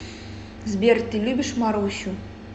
сбер ты любишь марусю